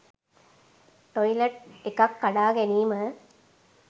toilet එකක් කඩා ගැනීම